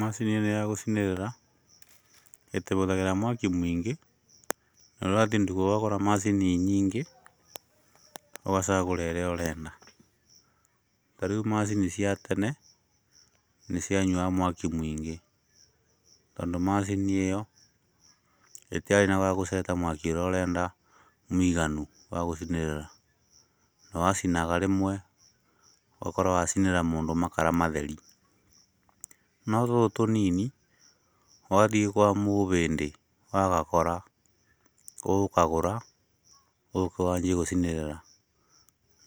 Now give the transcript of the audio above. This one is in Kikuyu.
Macini ĩrĩa ya gũcinĩrĩra, ĩtĩbũthagĩra mwaki mũingĩ, norathiĩ nduka ũgakora macini nyingĩ ũgacagũra irĩa ũrenda, ta rĩu macini cia tene nĩcianyuaga mwaki mũingĩ, tondũ macinĩ ĩyo ĩtĩarĩ na gwa gũceta mwaki ũrĩa ũrenda mũiganu wa gũcinĩrĩra na wacinaga rĩmwe ũgakorwo wacinĩrĩra mũndũ makara matheri, no tũtũ tũnini wathiĩ kwa mũũbĩndĩ ũgagakora, ũgũkagũra ũgoka wanjie gũcinĩrĩra,